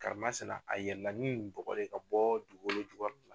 Karimasina a yɛlɛnna ni nin bɔgɔ de ye ka bɔ dugukolo jugukɔrɔ